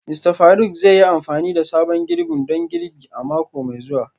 Mista Faruk zai yi amfani da sabon girbin don girbi a mako mai zuwa